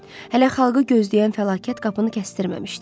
Hələ xalqı gözləyən fəlakət qapını kəsdirəmməmişdi.